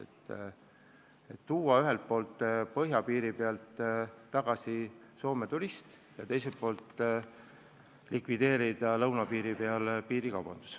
Eesmärk on ühelt poolt põhjapiiril tagasi Eestisse tuua Soome turist ja teiselt poolt likvideerida lõunapiiril piirikaubandus.